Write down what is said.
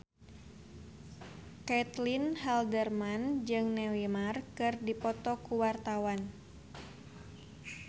Caitlin Halderman jeung Neymar keur dipoto ku wartawan